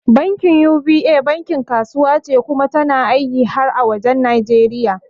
Bankin UBA bankin kasuwa ce kuma tana aiki har wajen Nijeriya